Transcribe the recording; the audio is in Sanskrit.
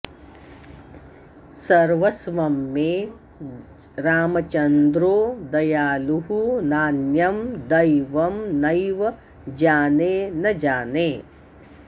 सर्वस्वं मे रामचन्द्रो दयालुः नान्यं दैवं नैव जाने न जाने